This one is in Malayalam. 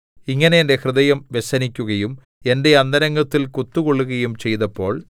ഇങ്ങനെ എന്റെ ഹൃദയം വ്യസനിക്കുകയും എന്റെ അന്തരംഗത്തിൽ കുത്തുകൊള്ളുകയും ചെയ്തപ്പോൾ